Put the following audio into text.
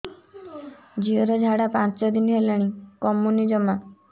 ଝିଅର ଝାଡା ପାଞ୍ଚ ଦିନ ହେଲାଣି କମୁନି ଜମା